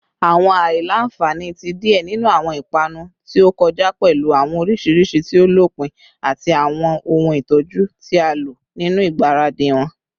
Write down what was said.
Awọn aila-nfani ti diẹ ninu awọn ipanu ti o kọja pẹlu awọn orisirisi ti o lopin ati awọn ohun itọju ti a lo ninu igbaradi wọn